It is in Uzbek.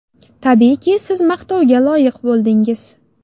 Tabiiyki, siz maqtovga loyiq bo‘ldingiz.